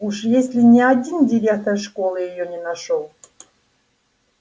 уж если ни один директор школы её не нашёл